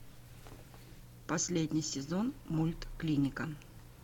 последний сезон мульт клиника